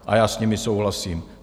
A já s nimi souhlasím.